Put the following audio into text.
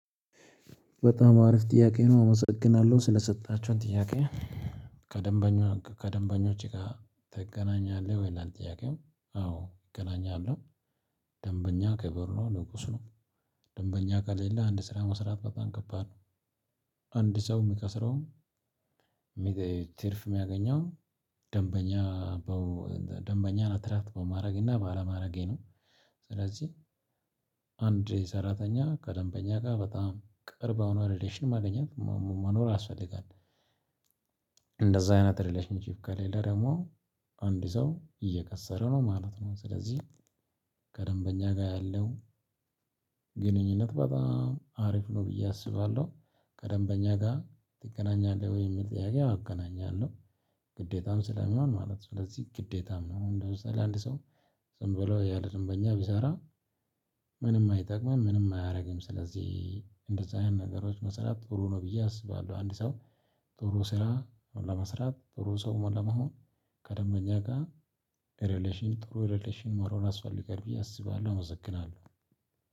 በጣም አሪፍ ጥያቄ ነው። አመሰግናለሁ ስለሰጣቸውን ጥያቄ ከደንበኛው ከደንበኞቼ ጋር እገናኛለህ ይላል ጥያቄው አዎ እገናኛለሁ። ደንበኛ ክብር ነው፣ ንጉስ ነው። ደንበኛ ከሌለ አንድ ስራ መስራት በጣም ከባድ ነው። አንድ ሰው የሚከስረውም ትርፍ የማያገኘው ደንበኛ ደንበኛን አትራክት በማድረግ እና ባለማድረጌ ነው። ስለዚህ አንድ ሰራተኛ ከደንበኛ ጋር በጣም ቅርብ የሆነ ሪሌሽን ማገኘት መኖር ያስፈልጋል። እንደዛ አይነት ሪሌሽንሺፕ ከሌለ ደግሞ አንድ ሰው እየከሰረ ነው ማለት ነው። ስለዚህ ከደንበኛ ጋር ያለው ግንኙነት በጣም አሪፍ ነው ብዬ አስባለሁ። ከደንበኛ ጋር ትገናኛለህ ወይ የሚል ጥያቄ፣ አዎ አገናኛለሁ። ግዴታም ስለሚሆን ማለት ነው። ስለዚህ ግዴታም ነው። ኡን ለምሳሌ አንድ ሰው ዝም ብሎ ያለ ደንበኛ ቢሰራ ምንም አይጠቅምም ምንም አያደርግም። ስለዚህ እንደዛ አይነት ነገሮች መስራት ጥሩ ነው ብዬ አስባለሁ። አንድ ሰው ጥሩ ስራ ለመስራት ጥሩ ሰው ለመሆን ከደንበኛ ጋር ሪሌሽን ጥሩ ሪሌሽን መኖር ያስፈልጋል ብዬ አስባለሁ። አመሰግናለሁ።